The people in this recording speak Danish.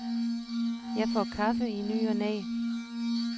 Jeg får kaffe i ny og næ.